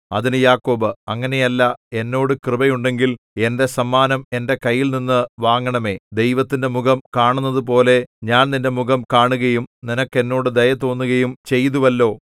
അതിന് യാക്കോബ് അങ്ങനെയല്ല എന്നോട് കൃപ ഉണ്ടെങ്കിൽ എന്റെ സമ്മാനം എന്റെ കൈയിൽനിന്നു വാങ്ങണമേ ദൈവത്തിന്റെ മുഖം കാണുന്നതുപോലെ ഞാൻ നിന്റെ മുഖം കാണുകയും നിനക്ക് എന്നോട് ദയ തോന്നുകയും ചെയ്തുവല്ലോ